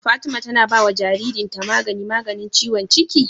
Fatima tAna bawa jarirn ta magani maganin ciwon cikin?